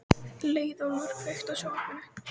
Leiðólfur, kveiktu á sjónvarpinu.